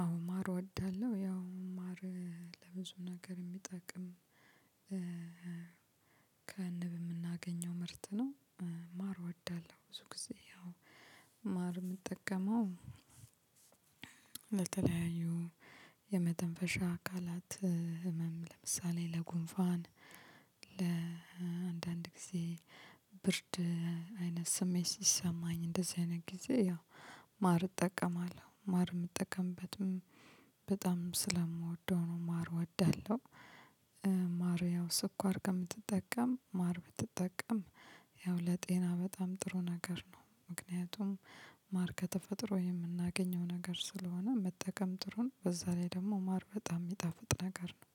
አዎ ማር እወዳለሁ። ያው ማር ለብዙ ነገር የሚጠቅም ከንብ የምናገኘው ምርት ነው። ማር እወዳለሁ ብዙ ጊዜ ያው ማር የምጠቀመው። ለተለያዩ የመተንፈሻ አካላት ህመም ለምሳሌ ለጉንፋን ለአንዳንድ ጊዜ ብርድ አይነት ስሜት ሲሰማኝ እንደዚህ አይነት ጊዜ ያው ማር እጠቀማለሁ ማር የምጠቀምበትም በጣም ስለምወደው ነው ማር እወዳለሁ። ማር ያው ስኳር ከምትጠቀም ማር ብትጠቀም ያው ለጤና በጣም ጥሩ ነገር ነው። ምክንያቱም ማር ከተፈጥሮ የምናገኘው ነገር ስለሆነ መጠቀም ጥሩ ነው በዛ ላይ ደግሞ ማር በጣም የሚጣፍጥ ነገር ነው።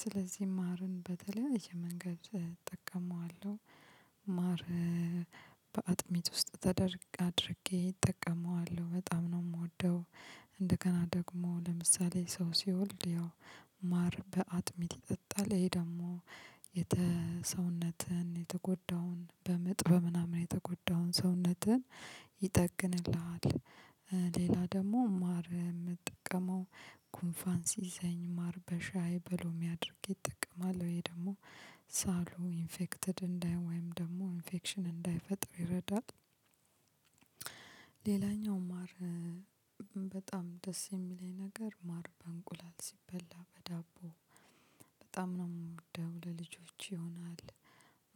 ስለዚህ ማርን በተለያየ መንገድ እጠቀመዋለሁ። ማር በአጥሚት ውስጥ ተደርግ አድርጌ እጠቀመዋለሁ በጣም ነው የምወደው። እንደገና ደግሞ ለምሳሌ ሰው ሲወልድ ያው ማር በአጥሚት ይጠጣል ይሄ ደግሞ የተ ሰውነትን የተጎዳውን በምጥ በምናምን የተጎዳውን ሰውነትን ይጠግንልሃል። ሌላ ደግሞ ማር የምጠቀመው ኩንፋን ሲይዘኝ ማር በሻይ በሎሚ አድርጌ እጠቅማለሁ ይህ ደግሞ ሳሉ ኢንፌክትድ እንዳይሆ ወይም ደግሞ ኢንፌክሽን እንዳይፈጥሩ ይረዳል። ሌላኛው ማር በጣም ደስ የሚለኝ ነገር ማር በእንቁላል ሲበላ በዳቦ በጣም ነው ደሞ ለልጆች ይሆናል።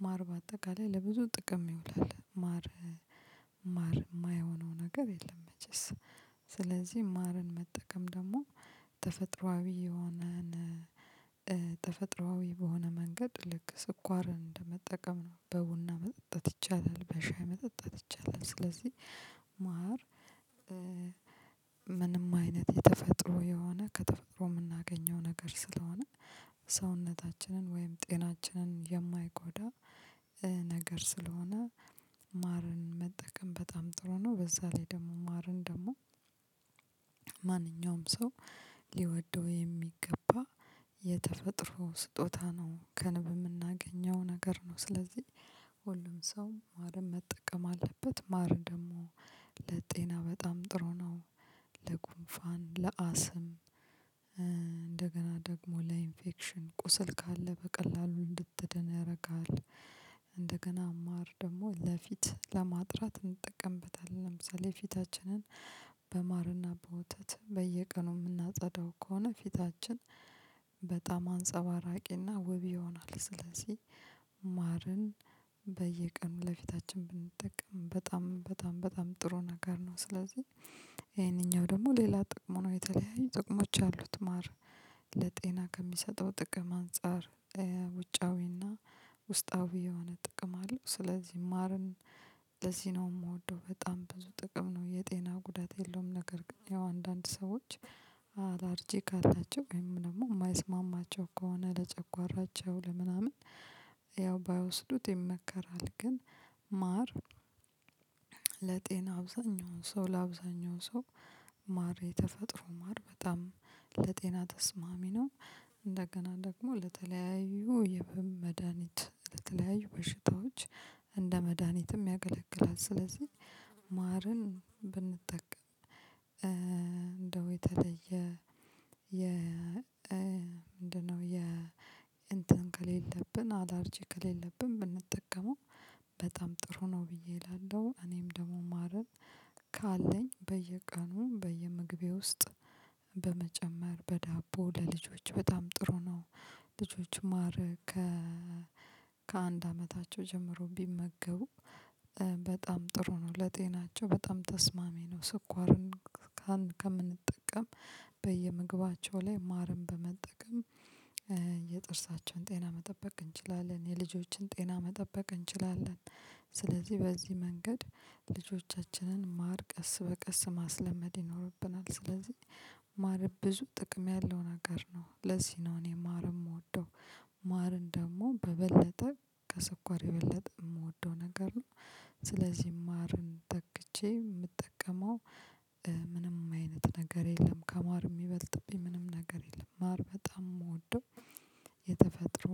ማር በአጠቃላይ ለብዙ ጥቅም ይውላል ማር ማር የማይሆነው ነገር የለም። መቼስ ስለዚህ ማርን መጠቀም ደግሞ ተፈጥሮአዊ የሆነ ተፈጥሮአዊ በሆነ መንገድ ልክ ስኳርን እንደመጠቀም ነው በቡና መጠጣት ይቻላል። በሻይ መጠጣት ይቻላል። ስለዚህ ማር ምንም አይነት የተፈጥሮ የሆነ ከተፈጥሮ የምናገኘው ነገር ስለሆነ ሰውነታችንን ወይም ጤናችንን የማይጎዳ ነገር ስለሆነ ማርን መጠቀም በጣም ጥሩ ነው። በዛ ላይ ደግሞ ማርን ደግሞ ማንኛውም ሰው ሊወደው የሚገባ የተፈጥሮ ስጦታ ነው ከንብ የምናገኘው ነገር ነው። ስለዚህ ሰው ማርን መጠቀም አለበት ማር ደግሞ ለጤና በጣም ጥሩ ነው። ለጉንፋን ለአስም እንደገና ደግሞ ለኢንፌክሽን ቁስል ካለ በቀላሉ እንድትድን ያደርጋሀል። እንደገና ማር ደግሞ ለፊት ለማጥራት እንጠቀምበታለን ለምሳሌ ፊታችንን በማርና በወተት በየቀኑ የምናጸዳው ከሆነ ፊታችን በጣም አንጸባራቂና ውብ ይሆናል። ስለዚህ ማርን በየቀኑ ለፊታችን ብንጠቀም በጣም በጣም በጣም ጥሩ ነገር ነው። ስለዚህ ይሄንኛው ደግሞ ሌላ ጥቅሙ ነው የተለያዩ ጥቅሞች አሉት። ማር ለጤና ከሚሰጠው ጥቅም አንፃር ውጫዊና ውስጣዊ የሆነ ጥቅም አለው ስለዚህ ማርን ለዚህ ነው የምወደው በጣም ብዙ ጥቅም ነው የጤና ጉዳት የለውም። ነገር ግን ያው አንዳንድ ሰዎች አላርጂ ካላቸው ወይም ደግሞ የማይስማማቸው ከሆነ ለጨጓራቸው ለምናምን ያው ባይወስዱት ይመከራል። ግን ማር ለጤና አብዛኛውን ሰው ለአብዛኛው ሰው ማር የተፈጥሮ ማር በጣም ለጤና ተስማሚ ነው እንደገና ደግሞ ለተለያዩ የህመም መድሃኒት ለተለያዩ በሽታዎች እንደ መድሃኒትም ያገለግላል። ስለዚህ ማርን ብንጠቀም እንደው የተለየ የ ምንድነው? የ እንትን ከሌለብን አላርጂ ከሌለብን ብንጠቀመው በጣም ጥሩ ነው ብዬ እላለሁ። እኔም ደግሞ ማረን ካለኝ በየቀኑ በየምግቤ ውስጥ በመጨመር በዳቦ ለልጆች በጣም ጥሩ ነው። ልጆች ማር ከ ከአንድ አመታቸው ጀምሮ ቢመገቡ በጣም ጥሩ ነው ለጤናቸው በጣም ተስማሚ ነው። ስኳርን ከምንጠቀም በየምግባቸው ላይ ማርንጨበመጠቀም የጥርሳቸውን ጤና መጠበቅ እንችላለን የልጆችን ጤና መጠበቅ እንችላለን። ስለዚህ በዚህ መንገድ ልጆቻችንን ማር ቀስ በቀስ ማስለመድ ይኖርብናል ስለዚህ ማር ብዙ ጥቅም ያለው ነገር ነው። ለዚህ ነው እኔ ማር የምወደው ማርን ደግሞ በበለጠ ከሰኳር የበለጠ የምወደው ነገር ነው። ስለዚህ ማርን ተክቼ የምጠቀመው ምንም አይነት ነገር የለም። ከማር የሚበልጥብኝ ምንም ነገር የለም። ማር በጣም የምወደው የተፈጥሮ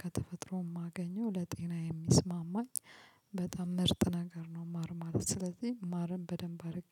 ከተፈጥሮ የማገኘው ለጤና የሚስማማኝ በጣም ምርጥ ነገር ነው። ማር ማለት ስለዚህ ማርን በደንብ አድርጌ